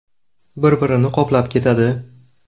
Bir-birini qoplab ketadi.